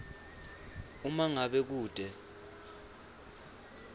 uma ngabe kute